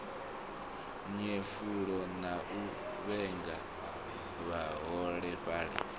nyefula na u vhenga vhaholefhali